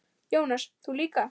Jónas: Þú líka?